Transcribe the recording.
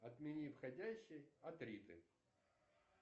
отмени входящий от риты